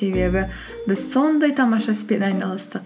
себебі біз сондай тамаша іспен айналыстық